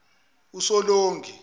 usolongi